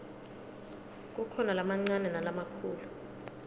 kukhona lamancane nalamakhulu